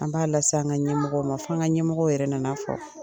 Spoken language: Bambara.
An b'a las'an ka ɲɛmɔgɔ ma, f'an ka ɲɛmɔgɔ yɛrɛ nana fɔ.